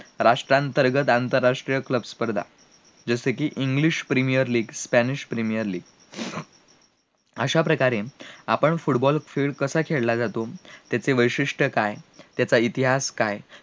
राष्ट्रांतर्गत आंतरराष्ट्रीय प्रतिस्पर्धा जसेकी english premiur leaguespanish premiur league अश्या प्रकारे आपण football खेळ कसा खेळला जातो, याचे वैशिष्ट्ये काय, याचा इतिहास काय